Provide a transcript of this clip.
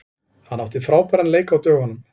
Hann átti frábæran leik á dögunum.